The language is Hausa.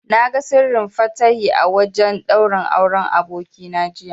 Na ga Sirrin Fatahi a wajen ɗaurin Auren abokina jiya.